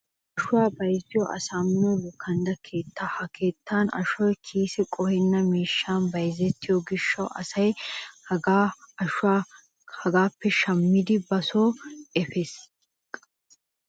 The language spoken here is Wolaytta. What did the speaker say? ashuwaa bayizziyo saaammino lukandda keettaa. ha keettan ashoy kiise qohenna mishshan bayizettiyo gishshawu asay qayye ashuwa hagaappe shammidi ba soo efees.